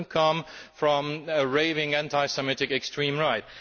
it does not come from a raving anti Semitic extreme right.